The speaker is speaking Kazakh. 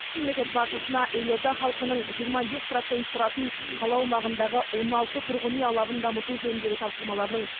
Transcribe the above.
мемлекет басшысына елорда халқының жиырма бес процент тұратын қала аумағындағы он алты тұрғын үй алабын дамыту жөніндегі тапсырмаларының